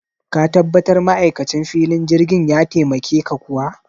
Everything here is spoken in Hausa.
Ka tabbatar ma'aikacin filin jirgin ya taimake ka kuwa?